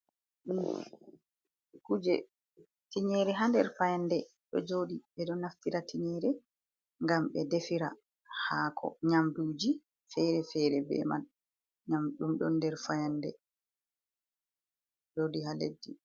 Ɗum kuje. Tingyere ha nder fayande ɗo joɗi. Beɗo naftira tingyere ngam ɓe defira hako, nyamdu ji fere-fere be man. Nyamdu ɗum ɗo nder fayande jodi ha leddi.